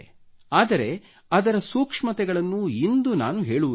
ಆದರೆ ಅದರ ಸೂಕ್ಷ್ಮತೆಗಳನ್ನು ಇಂದು ನಾನು ಹೇಳುವುದಿಲ್ಲ